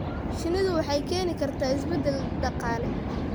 Shinnidu waxay keeni kartaa isbeddel dhaqaale.